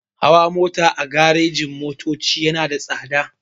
Hawa mota a garejin-motoci yana da tsada.